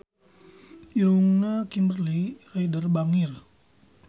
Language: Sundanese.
Irungna Kimberly Ryder bangir